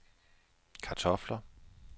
kartofler